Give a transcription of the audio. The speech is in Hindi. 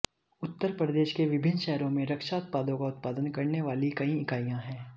उत्तर प्रदेश के विभिन्न शहरों में रक्षा उत्पादों का उत्पादन करने वाली कई इकाइयां हैं